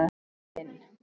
Muninn